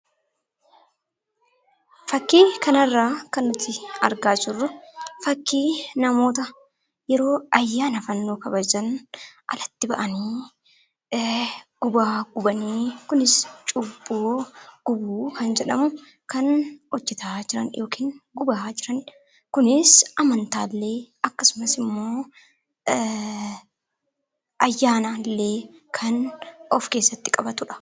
Fakkii kanarraa kan nuti argaa jirru fakkii namoota yeroo ayyaana fannoo kabajan alatti bahanii gubaa gubanii kunis cubbamuu gubuu kan jedhamu kan hojjataa jiran yookiin gubaa jiranidha. Kunis amantaallee akkasumas ayyaanallee kan of keessatti qabatudha.